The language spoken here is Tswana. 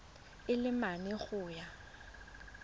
a le mane go ya